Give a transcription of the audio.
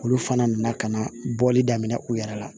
Olu fana nana ka na bɔli daminɛ u yɛrɛ la